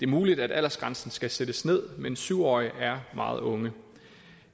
muligt at aldersgrænsen skal sættes ned men syv årige er meget unge